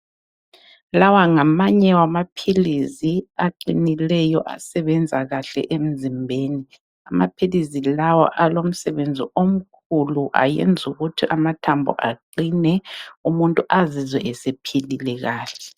Lawa ngamanye wamaphilizi aqinileyo asebenza kahle emzimbeni, amaphilizi lawa alomsebenzi omkhulu ayenzukuthi amathambo aqine umuntu azizwe sephilile kahle.